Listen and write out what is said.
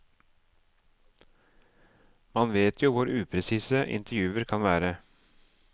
Man vet jo hvor upresise intervjuer kan være.